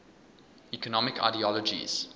economic ideologies